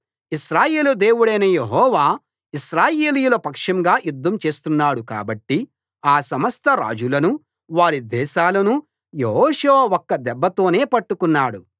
ఇశ్రాయేలు దేవుడైన యెహోవా ఇశ్రాయేలీయుల పక్షంగా యుద్ధం చేస్తున్నాడు కాబట్టి ఆ సమస్త రాజులనూ వారి దేశాలనూ యెహోషువ ఒక దెబ్బతోనే పట్టుకున్నాడు